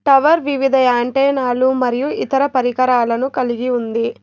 Tower వివిధ antenna లు మరియు ఇతర పరికరాలను కలిగి ఉంది.